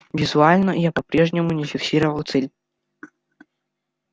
визуально я по-прежнему не фиксировал цель